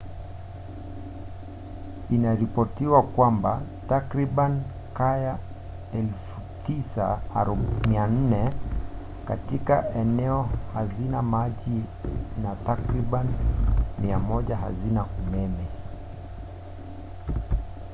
inaripotiwa kwamba takribani kaya 9400 katika eneo hazina maji na takribani 100 hazina umeme